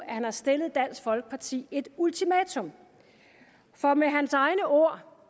at han har stillet dansk folkeparti et ultimatum med hans egne ord